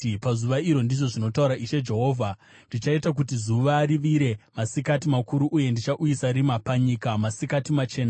“Pazuva iro,” ndizvo zvinotaura Ishe Jehovha, “ndichaita kuti zuva rivire masikati makuru uye ndichauyisa rima panyika masikati machena.